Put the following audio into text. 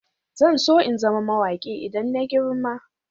Zan so in zama mawaki idan na girma.